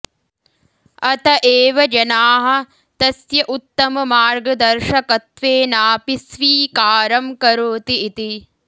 अत एव जनाः तस्य उत्तममार्गदर्शकत्वेनापि स्वीकारं करोति इति